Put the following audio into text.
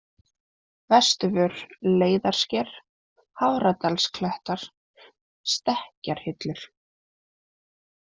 Vesturvör, Leiðarsker, Hafradalsklettar, Stekkjarhillur